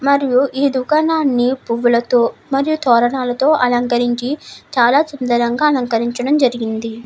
మరియు ఈ దుకాణాన్ని పువ్వులతో మరియు తోరణాలతో అలంకరించి చాల చిందరగా అలంకరించడం జరిగింది.